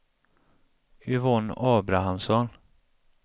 Yvonne Abrahamsson